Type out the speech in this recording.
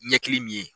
Ɲɛkili min ye